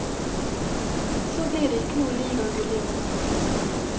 Så blir det ikke noe ligagull iår.